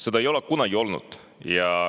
Seda ei ole kunagi olnud.